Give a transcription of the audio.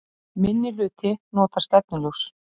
Minnihluti notar stefnuljós